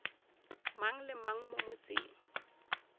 mang le mang mo motseng